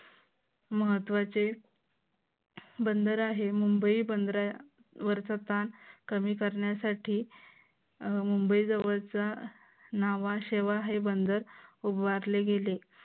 महत्वाचे बंदर आहे मुंबई बंधरावरचा तान कमी करण्यासाठी मुंबई जवळचा नावाशेवा हे बंदर उभारले गेले.